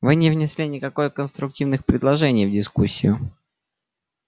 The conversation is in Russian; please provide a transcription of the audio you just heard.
вы не внесли никакой конструктивных предложений в дискуссию